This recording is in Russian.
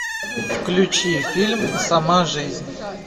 включи фильм сама жизнь